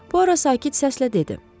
Puara sakit səslə dedi.